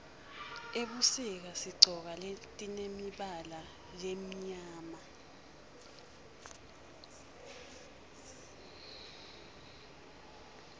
ebusika sigcoka letimemibala lemimyama